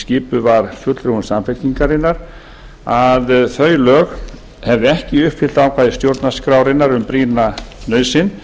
skipuð var fulltrúum samfylkingarinnar að þau lög hefðu ekki uppfyllt ákvæði stjórnarskrárinnar um brýna nauðsyn